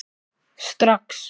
Strax